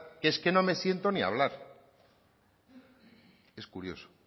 que es que no me siento ni a hablar es curioso